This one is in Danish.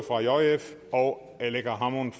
aleqa hammond